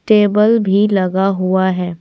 Table भी लगा हुआ है।